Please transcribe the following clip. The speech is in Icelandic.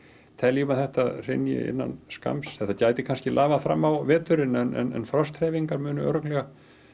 teljum að þetta hrynji innan skamms þetta gæti kannski lafað fram á veturinn en frosthreyfingar munu örugglega